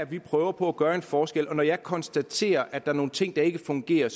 vi prøver på at gøre en forskel og når jeg konstaterer at der er nogle ting der ikke fungerer